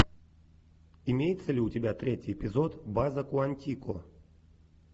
имеется ли у тебя третий эпизод база куантико